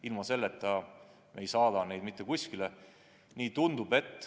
Ilma selleta me ei saada neid mitte kuskile.